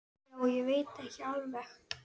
Já, ég veit ekki alveg.